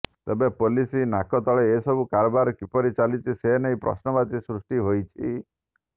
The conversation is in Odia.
ତେବେ ପୋଲିସ ନାକତଳେ ଏସବୁ କାରବାର କିପରି ଚାଲିଛି ସେନେଇ ପ୍ରଶ୍ନବାଚୀ ସୃଷ୍ଟି ହୋଇଛି